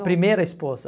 A primeira esposa.